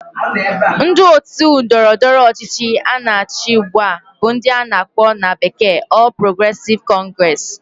Ndi otu Ndọrọ ndọrọ ọchịchị na achi ugba bu ndi ana akpo na bekee All Progressive Congress